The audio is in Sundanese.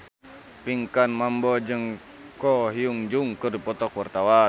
Pinkan Mambo jeung Ko Hyun Jung keur dipoto ku wartawan